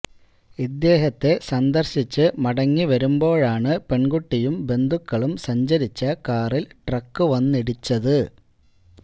ഇദ്ദേഹത്തെ സന്ദര്ശിച്ച് മടങ്ങി വരുമ്പോഴാണ് പെണ്കുട്ടിയും ബന്ധുക്കളും സഞ്ചരിച്ച കാറില് ട്രക്ക് വന്നിടിച്ചത്